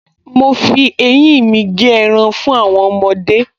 Mo fi eyín mi gé ẹran fún àwọn ọmọdé